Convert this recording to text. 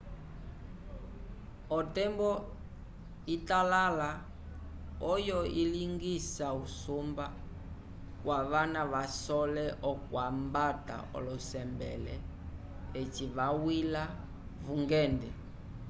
otembo italala oyo ilingisa usumba kwavana kavasole okwambata olosembele eci vawila vungende